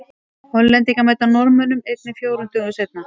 Hollendingar mæta Norðmönnum einnig fjórum dögum síðar.